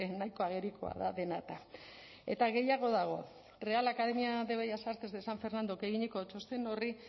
nahiko agerikoa da dena eta eta gehiago dago real academia de bellas artes de san fernandok eginiko txosten horri